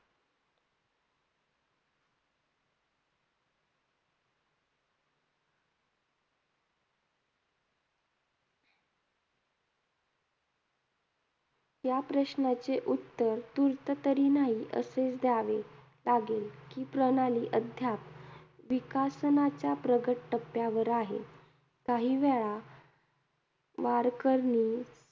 या प्रश्नाचे उत्तर तूर्ततरी नाही, असे द्यावे लागेल, कि प्रणाली अद्याप विकासनाच्या प्रगत टप्प्यावर आहे. काहीवेळा वरकरणी